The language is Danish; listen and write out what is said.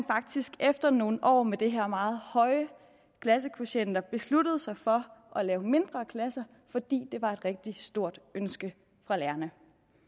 faktisk efter nogle år med de her meget høje klassekvotienter besluttede sig for at lave mindre klasser fordi det var et rigtig stort ønske fra lærerne